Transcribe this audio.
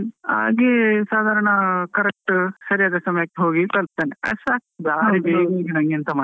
ಹಾಗೆ ಸಾದಾರಣ correct ಸರಿಯಾದ ಸಮಯಕ್ಕೆ ಹೋಗಿ ತಲ್ಪುತೇನೆ, ಅಷ್ಟ್ ಸಾಕು ಬಾರಿ ಬೇಗ ಹೋಗಿ ನಂಗ್ ಎಂತ ಮಾಡ್ಲಿಕ್.